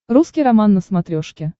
русский роман на смотрешке